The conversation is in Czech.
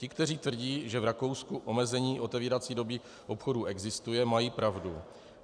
Ti, kteří tvrdí, že v Rakousku omezení otevírací doby obchodů existuje, mají pravdu.